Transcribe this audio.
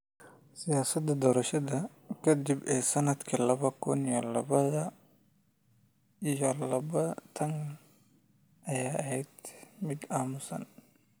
Siyaasaddii doorashada ka dib ee sannadkii laba kun iyo laba iyo labaatanaad ayaa ahayd mid aamusan.